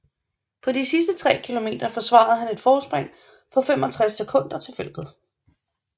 På de sidste tre kilometer forsvarede han et forspring på 45 sekunder til feltet